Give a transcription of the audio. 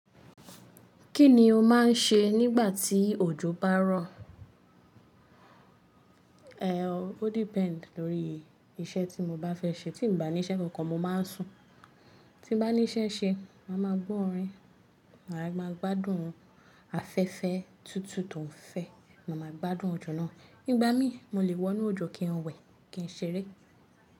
Kí ni o máa ń ṣe nígbà tí òjò bá rọ̀? Ehn, o depend lórí iṣẹ́ tí mo bá fẹ́ ṣe. Tí mo bá ní iṣẹ́ kankan, mo máa ń sùn. Tí bá ní iṣẹ́ ṣe, màá máa gbọ́ orin, màá máa gbádùn afẹ́fẹ́ tútù tó ń fẹ́, màá máa gbádùn òjò náà. Nígbà mí, mo lè wọ inú òjò kí n wẹ̀, kí n ṣeré.